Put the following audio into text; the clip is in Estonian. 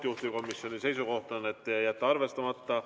Juhtivkomisjoni seisukoht: jätta arvestamata.